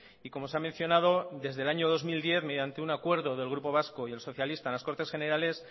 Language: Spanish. y como se ha mencionado desde el año dos mil diez mediante un acuerdo del grupo vasco y el socialista en las cortes generales